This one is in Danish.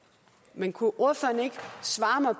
men kunne ordføreren ikke svare mig